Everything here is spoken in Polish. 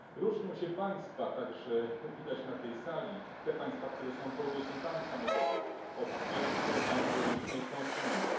Różnią się państwa także widać to na tej sali te państwa, które są producentami samochodów, od tych, które mają wyłącznie konsumentów.